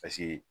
Paseke